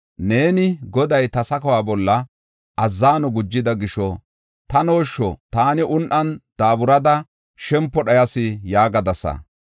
Neeni, ‘Goday ta sakuwa bolla azzano gujida gisho tanooshsho! Taani un7an daaburada shempo dhayas’ ” yaagadasa.